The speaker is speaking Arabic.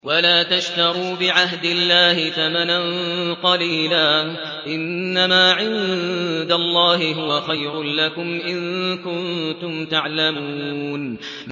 وَلَا تَشْتَرُوا بِعَهْدِ اللَّهِ ثَمَنًا قَلِيلًا ۚ إِنَّمَا عِندَ اللَّهِ هُوَ خَيْرٌ لَّكُمْ إِن كُنتُمْ تَعْلَمُونَ